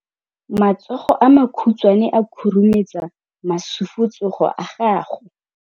Matsogo a makhutshwane a khurumetsa masufutsogo a gago.